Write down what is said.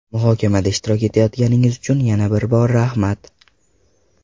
Muhokamada ishtirok etayotganingiz uchun yana bir bor rahmat.